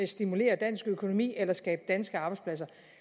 stimulere dansk økonomi eller skabe danske arbejdspladser